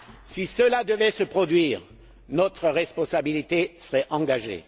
Si cela devait se produire, notre responsabilité serait engagée.